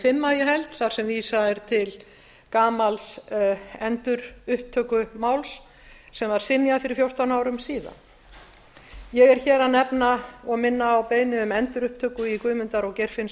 dagskrá í dag er vísað til gamals endurupptökumáls sem var synjað fyrir fjórtán árum ég er hér að nefna og minna á beiðni um endurupptöku í guðmundar og geirfinnsmálum